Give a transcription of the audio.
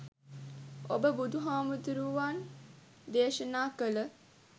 ඔබ බුදුහාමුදුරුවන් දේශනා කල